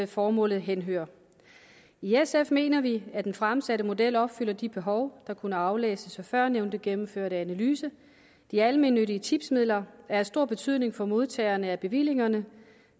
formålet henhører i sf mener vi at den fremsatte model opfylder de behov der kunne aflæses i førnævnte gennemførte analyse de almennyttige tipsmidler er af stor betydning for modtagerne af bevillingerne